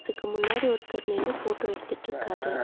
க்கு முன்னாடி ஒருத்தர் நின்னு ஃபோட்டோ எடுத்துட்ருக்காரு.